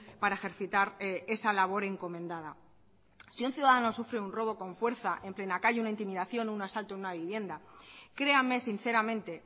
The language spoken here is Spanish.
para ejercitar esa labor encomendada si un ciudadano sufre un robo con fuerza en plena calle una intimidación un asalto a una vivienda creame sinceramente